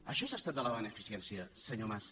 això és estat de la beneficència senyor mas